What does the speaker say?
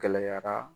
Gɛlɛyara